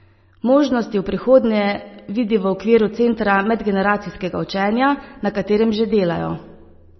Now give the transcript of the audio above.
Možnosti v prihodnje vidi v okviru centra medgeneracijskega učenja, na katerem že delajo.